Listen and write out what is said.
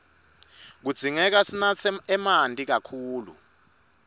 kudzingeka sinatse emanti kakhulu